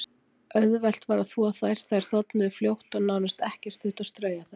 Auðvelt var að þvo þær, þær þornuðu fljótt og nánast ekkert þurfti að strauja þær.